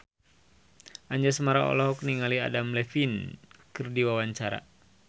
Anjasmara olohok ningali Adam Levine keur diwawancara